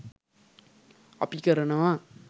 අපි කරනවා.